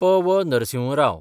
P. V.. Narasimha Rao